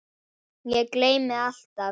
Ég gleymi alltaf.